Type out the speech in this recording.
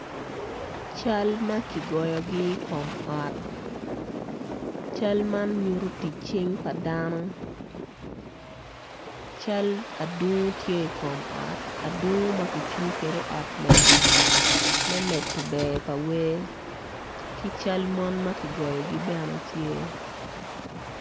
Cal ma kigoyogi i kom ot cal man nyuto tic cing pa dano cal adungu tye i kom ot adungu ma kitiyo kwede i ot lega.